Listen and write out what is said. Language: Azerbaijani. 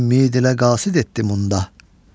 Ümmid ilə qasid etdi munda.